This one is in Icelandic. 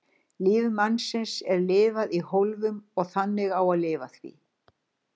Lífi mannsins er lifað í hólfum og þannig á að lifa því.